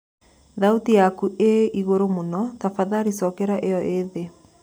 thaũtĩ yakũ ii ĩgũrũ mũno tafadhalĩ cokera io ii thĩĩ